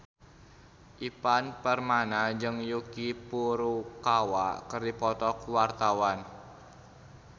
Ivan Permana jeung Yuki Furukawa keur dipoto ku wartawan